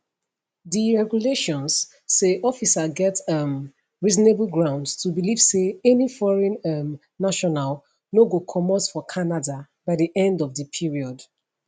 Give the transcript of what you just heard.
di regulations say officer get um reasonable grounds to believe say any foreign um national no go comot for canada by di end of di period